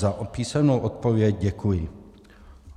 Za písemnou odpověď děkuji.